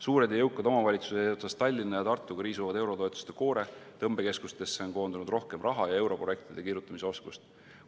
Suured ja jõukad omavalitsused eesotsas Tallinna ja Tartuga riisuvad eurotoetuste koore, tõmbekeskustesse on koondunud rohkem raha ja europrojektide kirjutamise oskust.